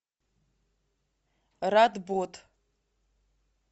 радбод